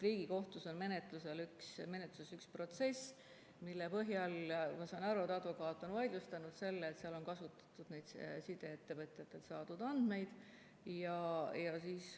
Riigikohtus on menetluses üks protsess ja ma saan aru, et advokaat on vaidlustanud selle, et seal on kasutatud sideettevõtjatelt saadud andmeid.